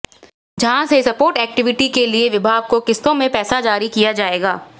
जहां से support activity के लिए विभाग को किस्तों में पैसा जारी किया जाएगा